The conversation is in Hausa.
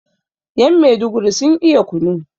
yan meduguri sun iya kunu